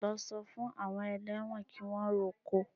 Lọ sọ fún àwọn ẹlẹ́wọ̀n kí wọ́n roko!